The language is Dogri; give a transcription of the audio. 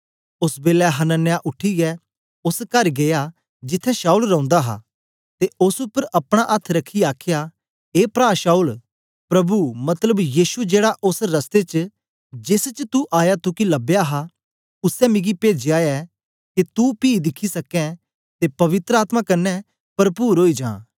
ओस बेलै हनन्याह उठीयै ओस कर गीया जिथें शाऊल रौंदा हा ते ओस उपर अपना अथ्थ रखियै आखया ए प्रा शाऊल प्रभु मतलब यीशु जेड़ा ओस रस्ते च जेस च तू आया तुगी लबया हा उसै मिकी पेजया ऐ के तू पी दिखी सकै ते पवित्र आत्मा कन्ने परपुरी ओई जा